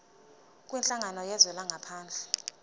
kwinhlangano yezwe langaphandle